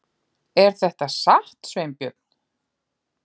Er þetta satt, Sveinbjörn?